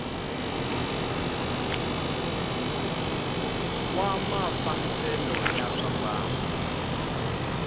wa mafambisele ya swa mbangu